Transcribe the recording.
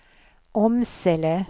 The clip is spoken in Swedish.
Åmsele